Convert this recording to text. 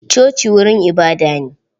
Coci wurin ibada ne.